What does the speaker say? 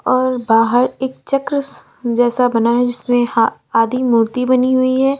और बाहर एक चक्र जैसा बना है जिसमें आधी मूर्ति बनी हुई है।